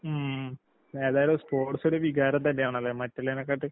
ഉം ഉം. ഏതായാലും സ്പോർട്സൊരു വികാരം തന്നെയാണല്ലേ മറ്റ്ള്ളേനേക്കാട്ട്.